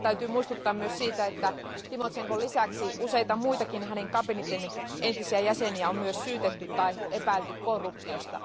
Täytyy muistuttaa myös siitä, että Tymošenkon lisäksi useita muitakin hänen kabinettinsa entisiä jäseniä on myös syytetty tai epäilty korruptiosta.